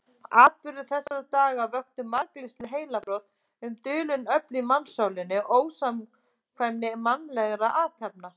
Atburðir þessara daga vöktu margvísleg heilabrot um dulin öfl í mannssálinni og ósamkvæmni mannlegra athafna.